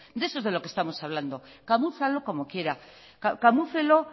de eso es lo que estamos hablando camúflelo como quiera camúflelo